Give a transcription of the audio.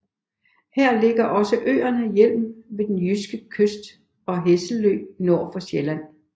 Her ligger også øerne Hjelm ved den jyske kyst og Hesselø nord for Sjælland